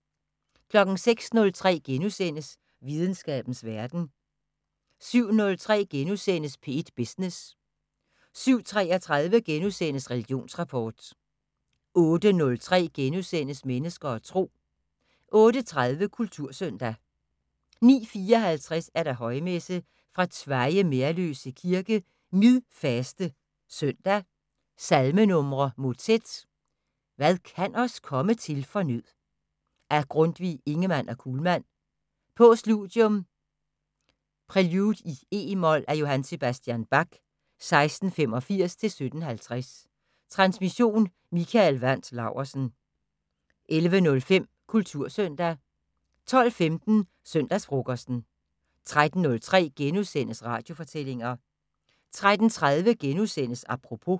06:03: Videnskabens Verden * 07:03: P1 Business * 07:33: Religionsrapport * 08:03: Mennesker og Tro * 08:30: Kultursøndag 09:54: Højmesse - fra Tveje Merløse kirke. Midfaste søndag. Salmenumre: Motet: "Hvad kan os komme til for nød" af Grundtvig/Ingemann og Kuhlmann. Postludium: "Prelude i e mol" af J. S. Bach (1685-1750). Transmission: Mikael Wandt Laursen. 11:05: Kultursøndag 12:15: Søndagsfrokosten 13:03: Radiofortællinger * 13:30: Apropos *